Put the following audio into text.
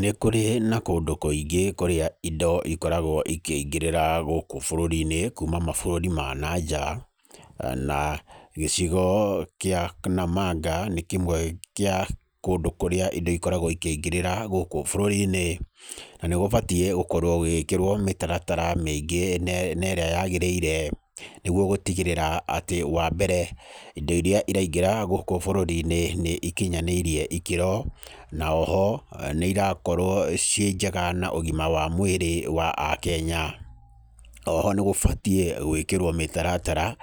Nĩ kũrĩ na kũndũ kũingĩ kũrĩa indo ikoragwo ikĩingĩrĩra gũkũ bũrũri-inĩ, kuuma mabũrũri ma na nja, na gĩcigo kĩa Namanga nĩ kĩmwe kĩa kũndũ kũrĩa indo ikoragwo ikĩingĩrĩra gũkũ bũrũri-inĩ. Na nĩ gũbatiĩ gũkorwo gũgĩkĩrwo mĩtaratara mĩiingĩ na na ĩrĩa yagĩrĩire, nĩguo gũtigĩrĩra atĩ. Wa mbere indo irĩa iraingĩra gũkũ bũrũri-inĩ nĩ ikinyanĩirie ikĩro, na oho, nĩ irakorwo ciĩ njega na ũgima wa mwĩrĩ wa Akenya. Oho nĩ gũbatiĩ gwĩkĩrwo mĩtaratara,